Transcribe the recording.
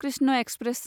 Krishna express